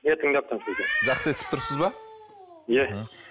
иә тыңдап тұрмын сізді жақсы естіп тұрсыз ба иә